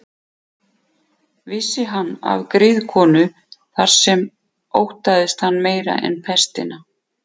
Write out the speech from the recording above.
Vissi hann af griðkonu þar sem óttaðist hann meira en pestina.